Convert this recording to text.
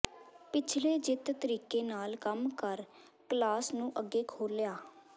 ਪਿਛਲੇ ਜਿੱਤ ਤਰੀਕੇ ਨਾਲ ਕੰਮ ਕਰ ਕਲਾਸ ਨੂੰ ਅੱਗੇ ਖੋਲ੍ਹਿਆ